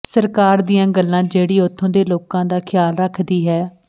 ਸਰਕਾਰ ਦੀਆਂ ਗੱਲਾਂ ਜਿਹੜੀ ਉੱਥੋਂ ਦੇ ਲੋਕਾਂ ਦਾ ਖਿਆਲ ਰੱਖਦੀ ਹੈ